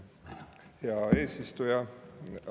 Hea eesistuja!